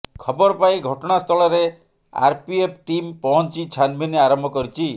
ଖବର ପାଇ ଘଟଣାସ୍ଥଳରେ ଆରପିଏଫ ଟିମ ପହଞ୍ଚି ଛାନଭିନ୍ ଆରମ୍ଭ କରିଛି